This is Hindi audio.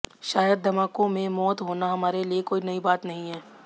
शायद धमाकों में मौत होना हमारे लिए कोई नई बात नहीं है